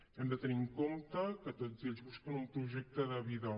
hem de tenir en compte que tots ells busquen un projecte de vida